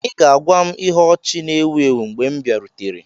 Ị ga-agwa m ihe ọchị na-èwu èwu mgbè m biarutere